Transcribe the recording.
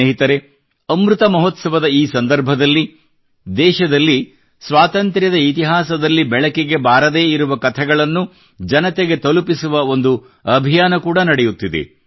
ಸ್ನೇಹಿತರೇ ಅಮೃತ ಮಹೋತ್ಸವದ ಈ ಸಂದರ್ಭದಲ್ಲಿ ದೇಶದಲ್ಲಿ ಸ್ವಾತಂತ್ರ್ಯದ ಇತಿಹಾಸದಲ್ಲಿ ಬೆಳಕಿಗೆ ಬಾರದೇ ಇರುವ ಕಥೆಗಳನ್ನು ಜನತೆಗೆ ತಲುಪಿಸುವ ಒಂದು ಅಭಿಯಾನ ಕೂಡಾ ನಡೆಯುತ್ತಿದೆ